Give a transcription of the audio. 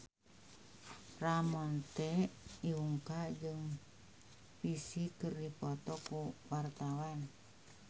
Ramon T. Yungka jeung Psy keur dipoto ku wartawan